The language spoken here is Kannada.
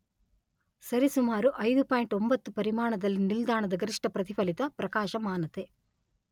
ಸರಿಸುಮಾರು ಐದು ಪಾಯಿಂಟ್ ಒಂಬತ್ತು ಪರಿಮಾಣದಲ್ಲಿ ನಿಲ್ದಾಣದ ಗರಿಷ್ಠ ಪ್ರತಿಫಲಿತ ಪ್ರಕಾಶಮಾನತೆ